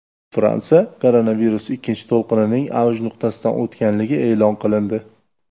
Fransiya koronavirus ikkinchi to‘lqinining avj nuqtasidan o‘tganligi e’lon qilindi.